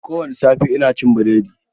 Ko wani safe, ina cin burodi.